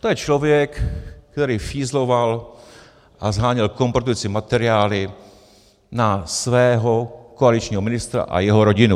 To je člověk, který fízloval a sháněl kompromitující materiály na svého koaličního ministra a jeho rodinu.